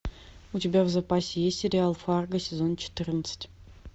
у тебя в запасе есть сериал фарго сезон четырнадцать